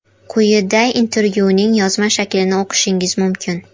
Quyida intervyuning yozma shaklini o‘qishingiz mumkin.